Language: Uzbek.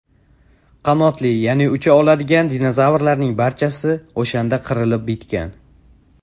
Qanotli, ya’ni ucha oladigan dinozavrlarning barchasi o‘shanda qirilib bitgan.